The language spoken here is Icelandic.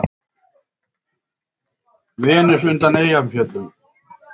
Venus undan Eyjafjöllum.